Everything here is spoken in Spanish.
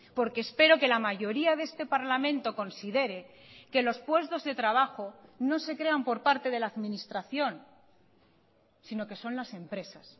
porque espero que la mayoría de este parlamento considere que los puestos de trabajo no se crean por parte de la administración sino que son las empresas